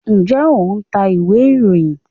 njẹ o ń tá ìwé iroyín?